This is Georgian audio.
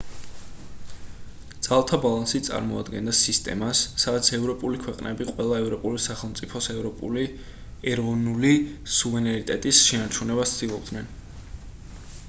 ძალთა ბალანსი წარმოადგენდა სისტემას სადაც ევროპული ქვეყნები ყველა ევროპული სახელმწიფოს ეროვნული სუვერენიტეტის შენარჩუნებას ცდილობდნენ